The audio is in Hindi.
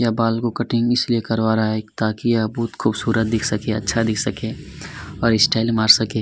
यह बाल को कटिंग इसलिए करवा रहा है ताकि ये बहुत ही अच्छा दिख सके बहुत ही खूबसूरत दिख सके और स्टाइल मार सके।